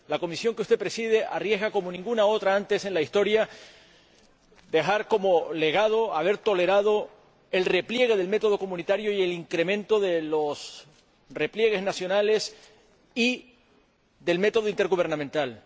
La Comisión que usted preside se arriesga, como ninguna otra antes en la historia, a dejar como legado haber tolerado el repliegue del método comunitario y el incremento de los repliegues nacionales y del método intergubernamental.